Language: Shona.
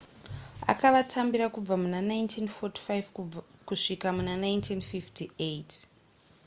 akavatambira kubva muna 1945 kusvika muna 1958